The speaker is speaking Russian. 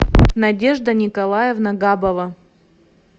надежда николаевна габова